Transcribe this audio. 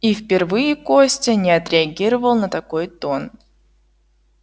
и впервые костя не отреагировал на такой тон